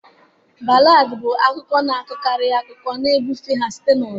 Ballads bụ abụ akụkọ na-akọkarị akụkọ, na-ebufekwa ha site n'ọgbọ.